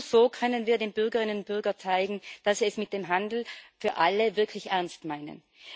Nur so können wir den Bürgerinnen und Bürgern zeigen, dass wir es mit dem Handel für alle wirklich ernst meinen.